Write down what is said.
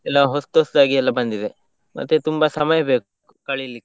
ಎಲ್ಲ ಹೊಸ್ತು ಹೊಸ್ತಾಗಿ ಎಲ್ಲ ಬಂದಿದೆ, ಮತ್ತೆ ತುಂಬಾ ಸಮಯ ಬೇಕು, ಕಳೀಲಿಕ್ಕೆ.